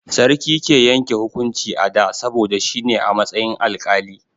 Sarki ke yanke hukunci a da, saboda shi ne a matsayin alƙali.